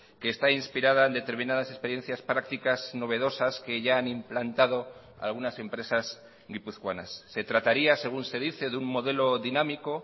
que está inspirada en determinadas experiencias prácticas novedosas que ya han implantado algunas empresas guipuzcoanas se trataría según se dice de un modelo dinámico